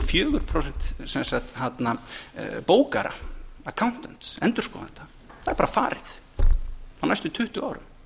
fjögur prósent bókara accountants endurskoðenda það er bara farið á næstu tuttugu árum